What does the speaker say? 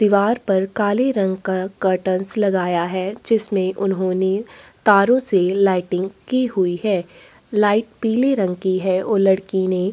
दिवार पर काले रंग का कर्टंस लगाया है जिसमे उन्होंने तारो से लाइटिंग की हुई है लाइट पिले रंग की है और लड़की ने--